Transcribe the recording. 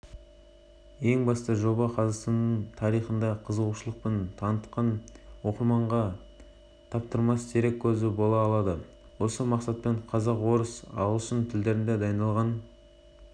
мен видеокадрлардан тұрады мультимедиялық лонгрид форматы оқырмандарға егемендік жолындағы жас мемлекеттің алғашқы қадамынан бастап астананың